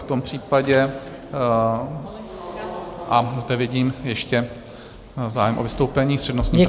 V tom případě - a zde vidím ještě zájem o vystoupení s přednostním právem.